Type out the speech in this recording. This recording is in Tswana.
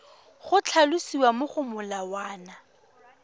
go tlhalosiwa mo go molawana